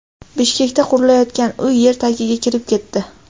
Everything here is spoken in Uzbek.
Bishkekda qurilayotgan uy yer tagiga kirib ketdi .